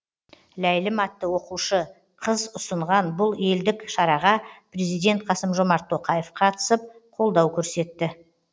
ләйлім атты оқушы қыз ұсынған бұл елдік шараға приздент қасым жомарт тоқаев қатысып қолдау көрсетті